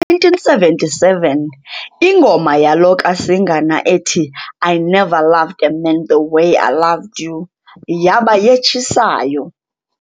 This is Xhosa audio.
Ngo1977, ingoma yalo kaSingana ethi "I Never Loved a Man the Way I Loved You" yaba yetshisayo.